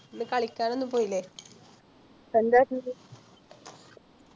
ഇന്ന് കളിക്കാനൊന്നും പോയില്ലേ